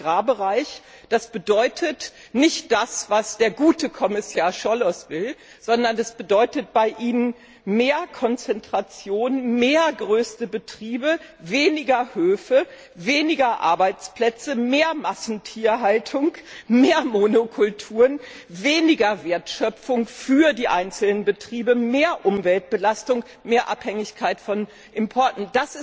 im Agrarbereich bedeutet nicht das, was der gute Kommissar Cioloş will, sondern das bedeutet bei Ihnen mehr Konzentration, mehr größere Betriebe, weniger Höfe, weniger Arbeitsplätze, mehr Massentierhaltung, mehr Monokulturen, weniger Wertschöpfung für die einzelnen Betriebe, mehr Umweltbelastung, mehr Abhängigkeit von Importen!